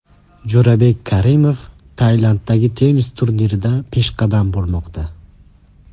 Jo‘rabek Karimov Tailanddagi tennis turnirida peshqadam bo‘lmoqda.